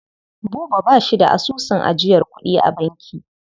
Buba ba shi da asusun ajiyar kuɗi a banki.